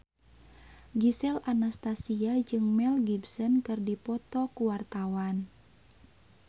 Gisel Anastasia jeung Mel Gibson keur dipoto ku wartawan